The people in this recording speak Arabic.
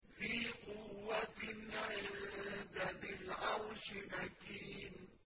ذِي قُوَّةٍ عِندَ ذِي الْعَرْشِ مَكِينٍ